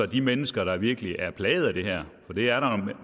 de mennesker der virkelig er plaget af det her for det er der